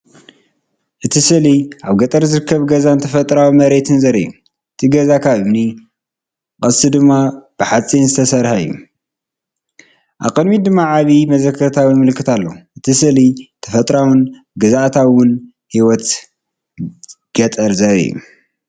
እቲ ስእሊ ኣብ ገጠር ዝርከብ ገዛን ተፈጥሮኣዊ መሬትን ዘርኢ እዩ። እቲ ገዛ ካብ እምኒ፡ ቀስቱ ድማ ብሓጺን ዝተሰርሐ እዩ። ኣብ ቅድሚት ድማ ዓቢ መዘከርታ ወይ ምልክት ኣሎ። እቲ ስእሊ ተፈጥሮኣውን ግዝኣታውን ህይወት ገጠር ዘርኢ እዩ።